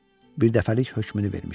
Birdəfəlik hökmünü vermişdi.